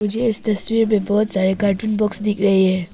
मुझे तस्वीर में बहुत सारे कार्टून बॉक्स दिख रही है।